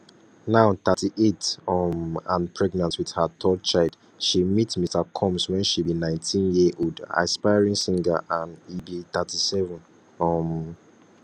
now 38 um and pregnant wit her third child she meet mr combs wen she be 19yearold aspiring singer and e be 37 um